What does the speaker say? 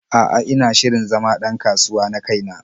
A'a, ina shirin zama ɗ an kasuwa na kai na.